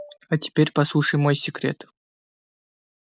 а теперь послушай мой секрет